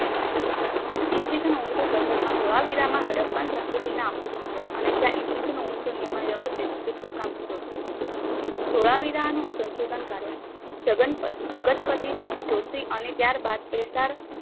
ઈ. સ. ઓગણીસો સડસઠમાં ધોળાવીરામાં હડપ્પા સંસ્કૃતિના અવષેશો મળ્યા અને જ્યાં ઈ. સ. ઓગણીસો નિમમાં વ્યવસ્થિત રીતે ખોદકામ શરૂ થયું હતું. ધોળાવીરાનું સંશોધન કાર્ય જગનપતિ જોશી અને ત્યારબાદ એસાર